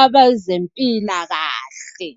abezempilakahle.